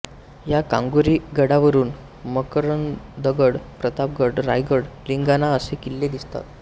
या कांगोरी गडावरून मकरंदगड प्रतापगड रायगड लिंगाणा असे किल्ले दिसतात